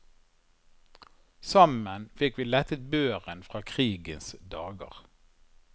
Sammen fikk vi lettet børen fra krigens dager.